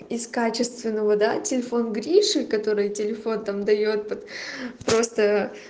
из качественного да телефон гриши который телефон там даёт просто